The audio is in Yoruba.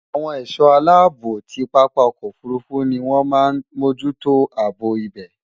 Awon è̩só̩ aláàbò ti pápá o̩kò̩ òfurufu ni wón máa n mójútó àbò ibè̩.